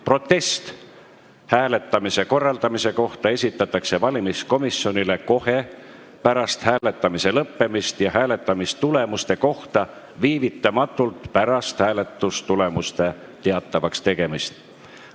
Protest hääletamise korraldamise kohta esitatakse valimiskomisjonile kohe pärast hääletamise lõppemist ja hääletamistulemuste kohta viivitamatult pärast hääletamistulemuste teatavakstegemist.